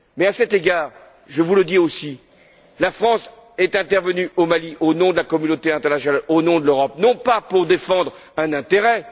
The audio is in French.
À cet égard, je vous le dis aussi, si la France est intervenue au Mali au nom de la communauté internationale, au nom de l'Europe, ce n'est pas pour défendre un intérêt.